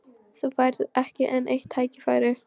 Þú færð ekki enn eitt tækifæri!